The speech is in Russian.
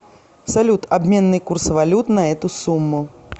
салют обменный курс валют на эту сумму